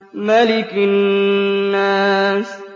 مَلِكِ النَّاسِ